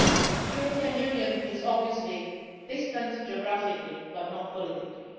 The European Union is obviously distant geographically, but not politically.